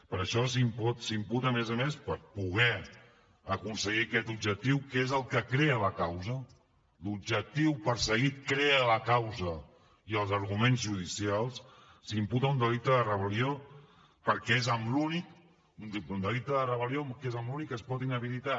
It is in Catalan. per això s’imputa a més a més per poder aconseguir aquest objectiu que és el que crea la causa l’objectiu perseguit crea la causa i els arguments judicials s’imputa un delicte de rebel·lió perquè és l’únic amb què es pot inhabilitar